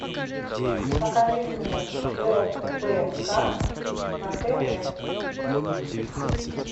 покажи мне рбк на тв